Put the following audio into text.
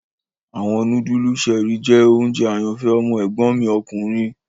Awọn nudulu Cherie jẹ ounjẹ ayanfẹ ọmọ egbon mi okunrin